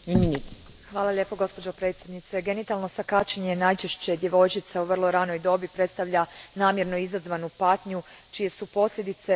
Gospođo predsjednice, genitalno skaćenje najčešće djevojčica u vrlo ranoj dobi predstavlja namjerno izazvanu patnju čije su posljedice vrlo teške.